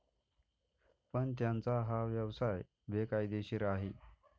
पण त्यांचा हा व्यवसाय बेकायदेशीर आहे.